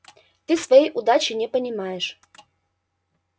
ты своей удачи не понимаешь